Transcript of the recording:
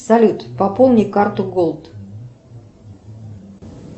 салют пополни карту голд